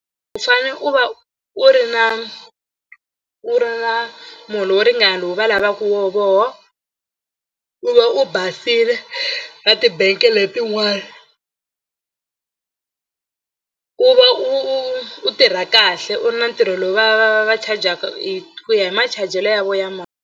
U fanele u va u ri na u ri na muholo wo ringana lowu va lavaka wo vona u va u basile ka ti-bank letin'wana ku va u u u tirha kahle u ri na ntirho lowu va va va charger-ka hi ku ya hi machajelo ya vona ya mali.